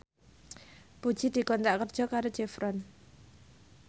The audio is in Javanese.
Puji dikontrak kerja karo Chevron